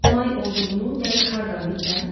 may olduğunu dəqiq hardan bilirəm?